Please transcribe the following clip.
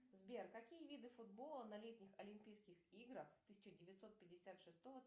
сбер какие виды футбола на летних олимпийских играх тысяча девятьсот пятьдесят шестого